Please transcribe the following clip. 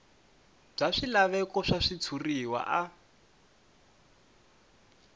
bya swilaveko swa switshuriwa a